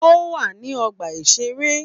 Ó wà ní ọgbà-ìṣeré